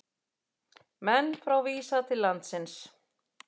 Menn frá Visa til landsins